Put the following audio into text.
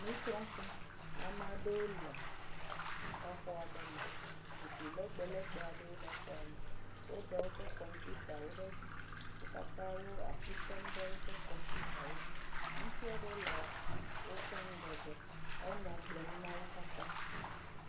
Nusrɔ̃ƒe ame aɖewo le xɔ aɖewo me zikpui legbelegbewo le xɔa me, wo da woƒe kɔmpitawo ɖe edzi, wo katã wo asi tem ɖe woƒe kɔmpitawo dzi, ŋutsu aɖewo le woƒe ŋgɔgbe hele nya gblɔm na wo katã.